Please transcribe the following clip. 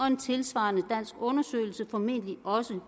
en tilsvarende dansk undersøgelse formentlig også vil